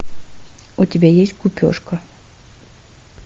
у тебя есть гупешка